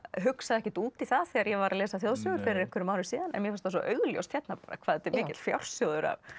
hugsaði ekkert út í það þegar ég var að lesa þjóðsögur fyrir einhverjum árum síðan en mér fannst það svo augljóst hérna hvað þetta er mikill fjársjóður af